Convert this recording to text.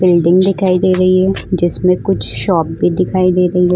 Building दिखाई दे रही है जिसमें कुछ शॉप भी दिखाई दे रही है।